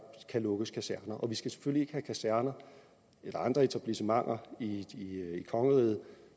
kan lukkes kaserner vi skal selvfølgelig have kaserner eller andre etablissementer i kongeriget